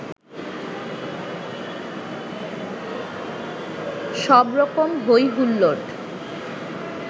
সবরকম হৈ হুল্লোড়